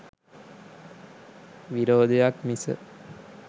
විරොදයක් මිස